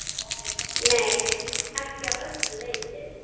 Nei, ekki að öllu leyti.